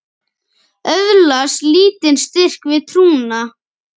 Öðlast lítinn styrk við trúna.